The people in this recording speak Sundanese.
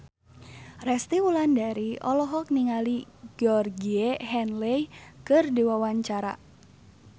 Resty Wulandari olohok ningali Georgie Henley keur diwawancara